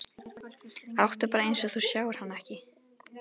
Láttu bara eins og þú sjáir hana ekki.